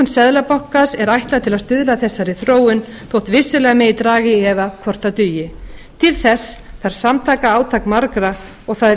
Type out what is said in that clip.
seðlabankans er ætluð til að stuðla að þessari þróun þótt vissulega megi draga í efa hvort það dugi til þess þarf samtaka átak margra og það er